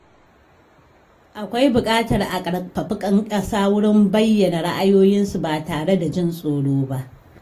Akwai buƙatar a ƙarfafi ‘yan ƙasa wurin bayyana ra’ayoyinsu ba tare da jin tsoro ba.